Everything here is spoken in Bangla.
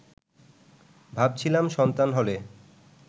ভাবছিলাম সন্তান হলে